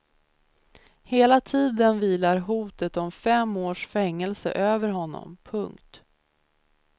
Hela tiden vilar hotet om fem års fängelse över honom. punkt